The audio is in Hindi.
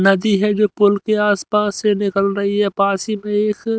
नदी है जो पूल के आसपास से निकल रही है पास ही में एक--